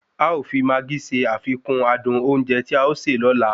A o fi maagí se àfikùn adùn oúnjẹ tí a ó sè lóla